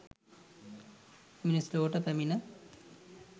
මිනිස් ලොවට පැමිණ